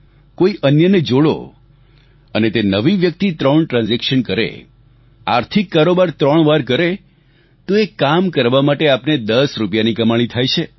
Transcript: કોઈ અન્યને જોડો અને તે નવી વ્યક્તિ ત્રણ ટ્રાન્ઝેક્શન કરે આર્થિક કારોબાર ત્રણવાર કરે તો એ કામ કરવા માટે આપને 10 રૂપિયાની કમાણી થાય છે